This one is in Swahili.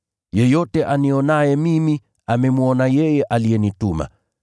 Yeyote anionaye mimi, amemwona yeye aliyenituma.